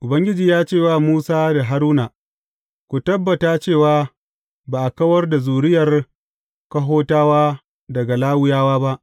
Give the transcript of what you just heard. Ubangiji ya ce wa Musa da Haruna, Ku tabbata cewa ba a kawar da zuriyar Kohatawa daga Lawiyawa ba.